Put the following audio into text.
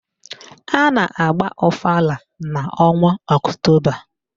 A na-agba ọfala n'ọnwa Ọktoba